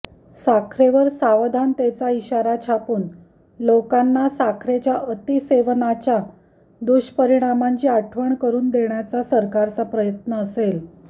साखरेवर सावधानतेचा इशारा छापून लोकांना साखरेच्या अतिसेवनाच्या दुष्परीणामांची आठवण करून देण्याचा सरकारचा प्रयत्न असेल